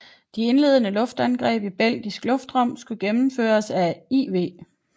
De indledende luftangreb i belgisk luftrum skulle gennemføres af IV